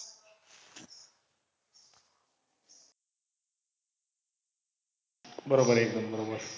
बरोबर एकदम बरोबर ये